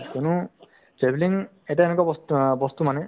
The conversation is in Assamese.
কোনো travelling এটা এনেকুৱা বস্ত~ অ বস্তু মানে